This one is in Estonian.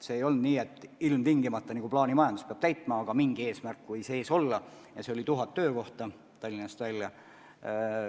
See ei olnud nii, et ilmtingimata peab nagu plaanimajanduses ülesande täitma, aga mingi eesmärk võis ees olla ja see oli 1000 töökohta Tallinnast välja.